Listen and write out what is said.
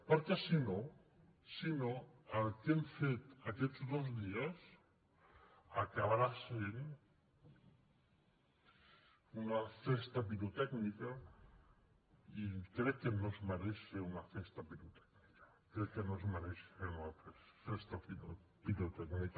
perquè si no si no el que hem fet aquests dos dies acabarà sent una festa pirotècnica i crec que no es mereix ser una festa pirotècnica crec que no es mereix ser una festa pirotècnica